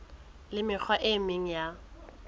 le mekgwa e meng ya